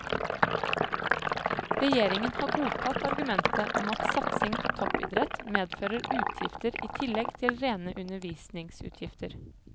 Regjeringen har godtatt argumentet om at satsing på toppidrett medfører utgifter i tillegg til rene undervisningsutgifter.